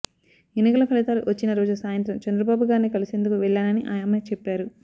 ఎన్నికల ఫలితాలు వచ్చిన రోజు సాయంత్రం చంద్రబాబు గారిని కలిసేందుకు వెళ్లానని ఆమె చెప్పారు